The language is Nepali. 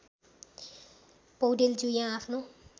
पौडेलज्यू यहाँ आफ्नो